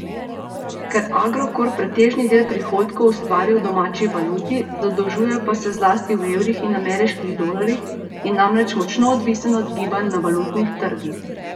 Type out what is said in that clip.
Ker Agrokor pretežni del prihodkov ustvari v domači valuti, zadolžuje pa se zlasti v evrih in ameriških dolarjih, je namreč močno odvisen od gibanj na valutnih trgih.